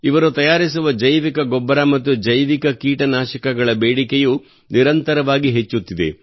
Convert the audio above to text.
ಇವರು ತಯಾರಿಸುವ ಜೈವಿಕ ಗೊಬ್ಬರ ಮತ್ತು ಜೈವಿಕ ಕೀಟನಾಶಕಗಳ ಬೇಡಿಕೆಯೂ ನಿರಂತರವಾಗಿ ಹೆಚ್ಚುತ್ತಿದೆ